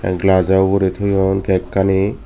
glass o uguri toyon cake ani.